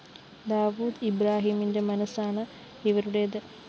ദാവൂദ് ഇബ്രാഹിമിന്റെ മനസ്സാണ് ഇവരുടേത്